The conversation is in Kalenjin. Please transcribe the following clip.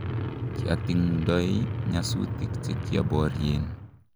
kiatingdoi nyasutik che kioborien